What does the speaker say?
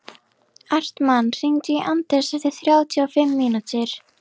Hartmann, hringdu í Anders eftir þrjátíu og fimm mínútur.